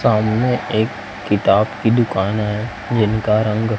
सामने एक किताब की दुकान है जिनका रंग--